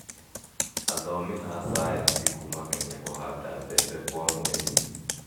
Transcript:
Athomi a cayanici kuuma Kenya kũhanda mbembe kwa mweri